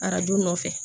Arajo nɔfɛ